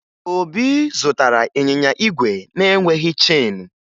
Obi zụtara ịnyịnya igwe na-enweghi cheenu